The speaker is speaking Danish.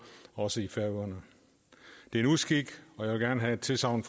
også i færøerne det er en uskik og jeg vil gerne have et tilsagn